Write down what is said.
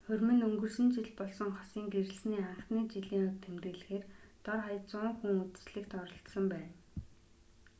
хурим нь өнгөрсөн жил болсон хосын гэрлэсний анхны жилийн ойг тэмдэглэхээр дор хаяж 100 хүн үдэшлэгт оролцсон байна